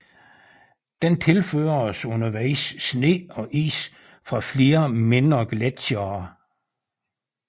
Den tilføres undervejs sne og is fra flere mindre gletsjere